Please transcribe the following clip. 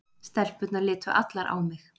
Stelpurnar litu allar á mig.